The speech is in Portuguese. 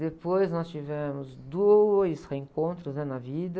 Depois, nós tivemos dois reencontros né? Na vida.